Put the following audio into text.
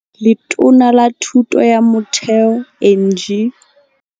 Letona la Thuto ya Motheo Angie.